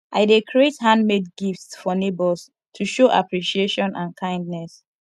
i dey create handmade gifts for neighbors to show appreciation and kindness